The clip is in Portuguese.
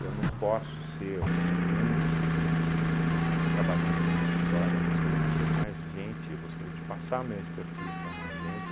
não posso ser o único ahn trabalhando nessa história, eu gostaria de ver mais gente, eu gostaria de passar minha expertise para mais gente.